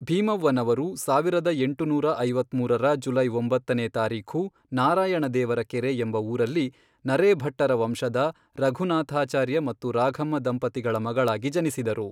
ಭೀಮವ್ವನವರು ಸಾವಿರದ ಎಂಟುನೂರ ಐವತ್ಮೂರರ ಜುಲೈ ಒಂಬತ್ತನೇ ತಾರೀಖು ನಾರಾಯಣ ದೇವರ ಕೆರೆ ಎಂಬ ಊರಲ್ಲಿ, ನರೇಭಟ್ಟರ ವಂಶದ, ರಘುನಾಥಾಚಾರ್ಯ ಮತ್ತು ರಾಘಮ್ಮ ದಂಪತಿಗಳ ಮಗಳಾಗಿ ಜನಿಸಿದರು.